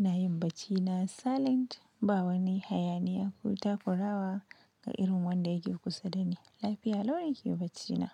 Ina yin baccina silent, ba wani hayaniya ko takurawa ga irin wanda yake kusa dani. Lafiya lau nake baccina.